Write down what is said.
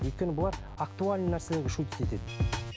өйткені бұлар актуальный нәрселерге шутить етеді